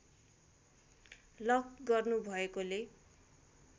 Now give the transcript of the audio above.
lock गर्नु भएकोले